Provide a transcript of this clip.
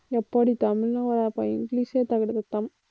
எப்பாடி இங்கிலிஷே தகிடத்தத்தம்